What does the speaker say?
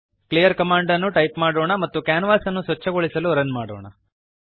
clear ಕಮಾಂಡನ್ನು type ಮಾಡೋಣ ಮತ್ತು ಕ್ಯಾನ್ವಾಸ್ ಅನ್ನು ಸ್ವಚ್ಛಗೊಳಿಸಲು ರನ್ ಮಾಡೋಣ